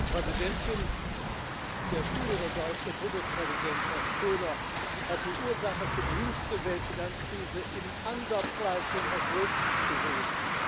Frau Präsidentin! Der frühere deutsche Bundespräsident Horst Köhler hat die Ursache für die jüngste Weltfinanzkrise im gesehen.